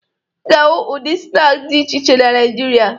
Ị ga-ahụ ụdị snaakị dị iche iche na Naịjirịa